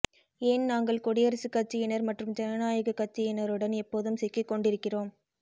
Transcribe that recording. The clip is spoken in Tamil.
ஏன் நாங்கள் குடியரசுக் கட்சியினர் மற்றும் ஜனநாயகக் கட்சியினருடன் எப்போதும் சிக்கிக்கொண்டிருக்கிறோம்